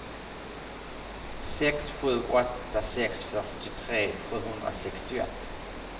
sex sju åtta sex fyrtiotre sjuhundrasextioett